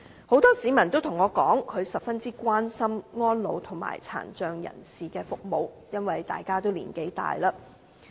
很多市民告訴我，他們十分關心安老和殘障人士的服務，因為大家已經年老。